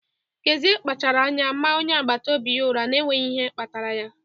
Kezie kpachaara anya maa onye agbata obi ya ụra n'enweghị ihe kpatara ya.